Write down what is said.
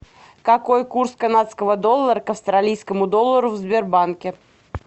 какой курс канадского доллара к австралийскому доллару в сбербанке